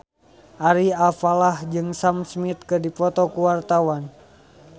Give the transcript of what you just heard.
Ari Alfalah jeung Sam Smith keur dipoto ku wartawan